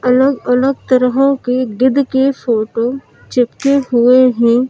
अलग-अलग तरह की गिद्ध की फोटो चिपके हुए हैं।